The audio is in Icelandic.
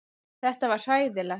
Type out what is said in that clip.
Þetta var hræðilegt.